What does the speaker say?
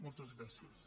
moltes gràcies